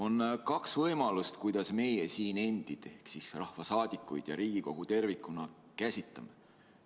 On kaks võimalust, kuidas meie siin endid ehk siis rahvasaadikuid ja Riigikogu tervikuna käsitame.